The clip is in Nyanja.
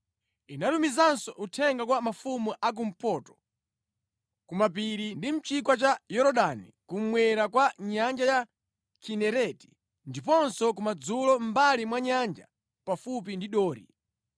Inatumizanso uthenga kwa mafumu a kumpoto, kumapiri, ndi mʼchigwa cha Yorodani kummwera kwa nyanja ya Kinereti, ndiponso kumadzulo mʼmbali mwa nyanja pafupi ndi Dori.